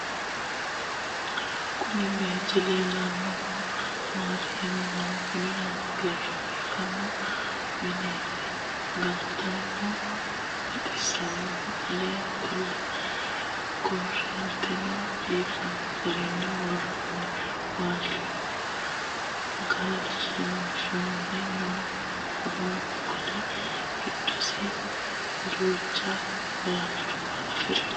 kuuni bayichu lelanohu maati yinumoro kuuni lowogesha bifano mineti. galateno baxisanoho. alle qole koorenteno bifano garini woroni. walchoho galshishanore noo woronni qolle gidodisi ducha walchuwa afirino.